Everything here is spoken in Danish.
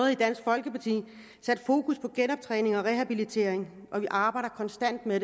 i dansk folkeparti sat fokus på genoptræning og rehabilitering og vi arbejder konstant med